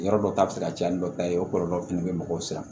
Yɔrɔ dɔ ta bɛ se ka caya ni dɔ ta ye o kɔlɔlɔ fɛnɛ bɛ mɔgɔw san